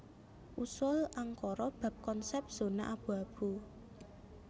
Usul Ankara bab konsèp zona abu abu